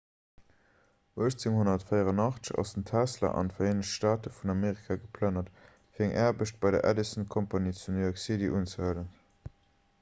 1884 ass den tesla an d'vereenegt staate vun amerika geplënnert fir eng aarbecht bei der edison company zu new york city unzehuelen